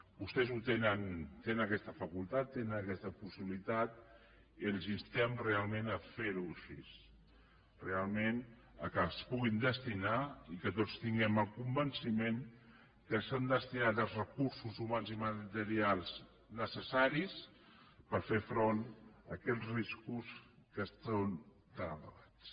vostès tenen aquesta facultat tenen aquesta possibilitat i els instem realment a fer ho així realment que s’hi puguin destinar i que tots tinguem el convenciment que s’han destinat els recursos humans i materials necessaris per fer front a aquests riscos que són tan elevats